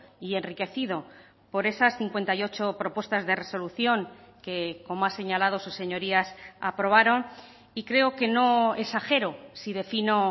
y enriquecido por esas cincuenta y ocho propuestas de resolución que como ha señalado sus señorías aprobaron y creo que no exagero si defino